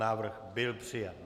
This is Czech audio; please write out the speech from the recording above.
Návrh byl přijat.